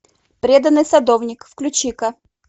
преданный садовник включи ка